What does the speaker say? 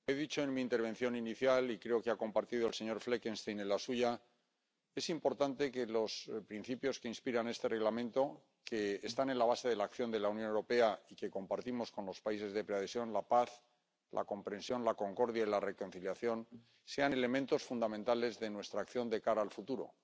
Señora presidenta, he dicho en mi intervención inicial —y creo que lo ha compartido el señor Fleckenstein en la suya— que es importante que los principios que inspiran este Reglamento —que están en la base de la acción de la Unión Europea y que compartimos con los países de preadhesión la paz, la comprensión, la concordia y la reconciliación— sean elementos fundamentales de nuestra acción de cara al futuro.